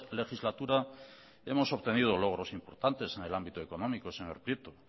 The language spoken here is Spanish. legislatura hemos obtenido logros importantes en el ámbito económico señor prieto